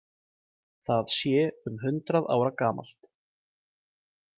Það sé um hundrað ára gamalt.